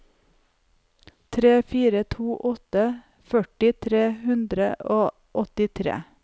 tre fire to åtte førti tre hundre og åttitre